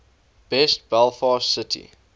best belfast city